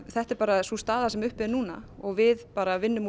þetta er bara sú staða sem er uppi núna og við bara vinnum